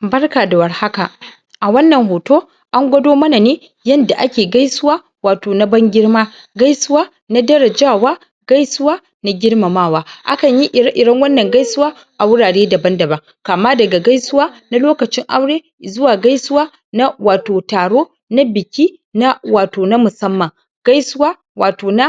Barka da war haka a wannan hoto an gwado mana ne yanda ake gaisuwa wato na ban-girma gaisuwa na darajawa gaisuwa na girmamawa akan yi ire-iren wannan gaisuwa a wurare daban-daban kama daga gaisuwa na lokacin aure izuwa gaisuwa na wato taro na biki na wato na musamman gaisuwa wato na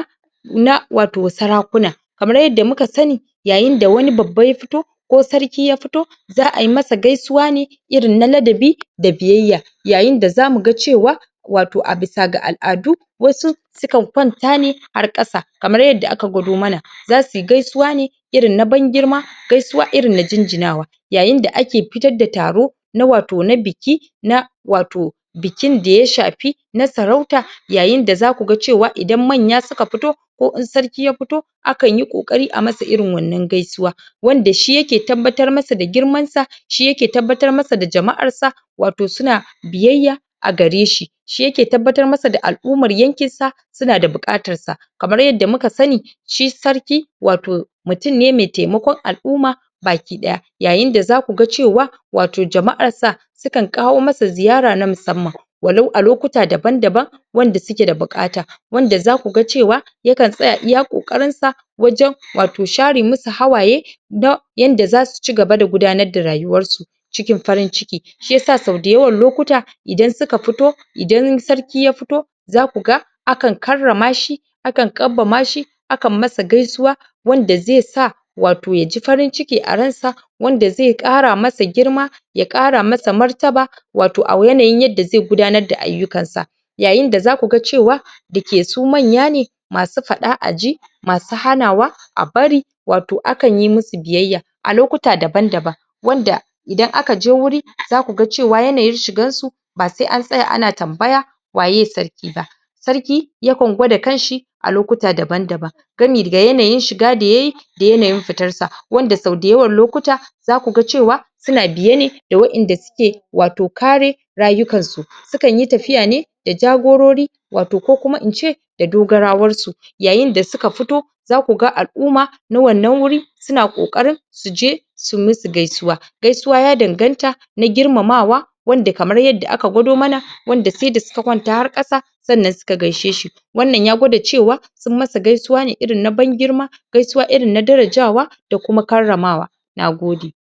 na wato sarakuna kamar yadda muka sani yayin da wani babba ya fito ko Sarki ya fito za a yi masa gaisuwa ne irin na ladabi da biyayya yayin da za mu ga cewa wato a bisa ga al'adu wasu su kan kwanta ne har ƙasa kamar yadda aka gwado mana za su yi gaisuwa ne irin na ban-girma gaisuwa irin na jinjinawa yayin da ake fitar da taro na wato na biki na wato bukin da ya shafi na sarauta yayin da za ku ga cewa idan manya suka fito ko in sarki ya fito an kan yi ƙoƙari a masa irin wannan gasiuwa wanda shi yake tabbatar masa da girmansa shi yake tabbatar masa da jama'arsa wato su na biyayya a gare shi shi yake tabbatar masa da al'ummar yankinsa su na da buƙatar sa kamar yadda muka sani shi sarki wato mutum ne mai taimakon al'umma baki-ɗaya yayin da za ku ga cewa wato jama'arsa su kan kawo masa ziyara na musamman walau a lokuta daban-daban wanda suke da buƙata wanda za ku ga cewa ya kan tsaya iya ƙoƙarinsa wajen wato share musu hawaye da yanda za su ci gaba da gudanar da rayuwarsu cikin farin-ciki shi yasa sau dayawan lokuta idan su ka fito idan sarki ya fito za ku ga a kan karrama shi a kan kambama shi akan masa gaisuwa wanda zai sa wato ya ji farin-ciki a ransa wanda zai ƙara masa girma ya ƙara masa martaba wato a yanayin yadda zai gudanar da ayyukansa yayin da za ku ga cewa dake su manya ne masu faɗa a ji masu hanawa a bari wato akan yi musu biyayya a lokuta daban-daban wanda idan aka je wuri za ku ga cewa yanayin shigarsu ba sai an tsaya ana tambaya waye sarki ba sarki ya kan gwada kanshi a lokuta daban-daban gami ga yanayin shigs da yayi da yanayin fitarsa wanda sau dayawan lokuta za ku ga cewa su na biye ne da waɗanda suke wato kare rayukansu su kan yi tafiya ne da jagorori wato ko kuma in ce da dogarawarsu yayin da suka fito za ku ga al'umma na wannan wuri su na ƙoƙarin su je su musu gaisuwa gaisuwa ya danganta na girmamawa wanda kamar yadda aka gwado mana wanda sai da suka kwanta har ƙasa sannan su ka gaishe shi wannan ya gwada cewa sun masa gaisuwa ne irin na ban-girma gaisuwa irin na darajawa da kuma karramawa na gode